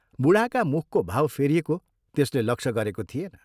बूढाका मुखको भाव फेरिएको त्यसले लक्ष्य गरेको थिएन।